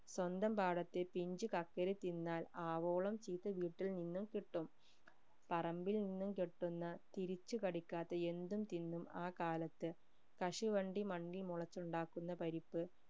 സ്വന്തം പാടത്തെ പിഞ്ച് കക്കിരി തിന്നാൽ ആവോളം ചീത്ത വീട്ടിൽ നിന്നും കിട്ടും പറമ്പിൽ നിന്നും കിട്ടുന്ന തിരിച്ചു കടിക്കാത്ത എന്തും തിന്നും ആ കാലത്ത് കശുവണ്ടി മണ്ണിൽ വിളിച് ഉണ്ടാക്കുന്ന പരിപ്പ്